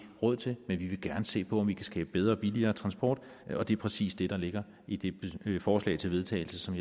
råd til men vi vil gerne se på om vi kan skabe bedre og billigere transport og det er præcis det der ligger i det forslag til vedtagelse som